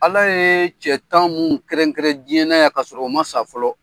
Ala ye cɛ tan mun kɛrɛnkɛrɛn diɲɛ na yan ka sɔrɔ o ma sa fɔlɔ